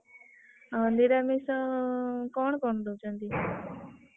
ନିରାମିଷ କଣ କଣ ଦଉଛନ୍ତି?